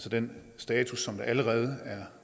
at den status som der allerede er